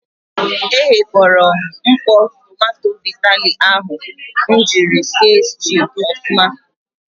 E ghekpọrọ m mkpọ tomanto vitali ahụ m jiri si stuu ọfụma.